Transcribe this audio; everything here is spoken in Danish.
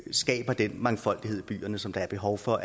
skaber den mangfoldighed i byerne som der er behov for